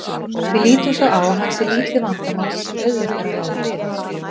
Við lítum svo á að hann sé lítið vandamál sem auðvelt er að ráða við.